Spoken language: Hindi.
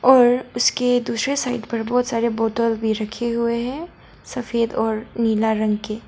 और उसके दूसरे साइड पर बहुत सारे बोतल भी रखें हुए हैं सफेद और नीला रंग के।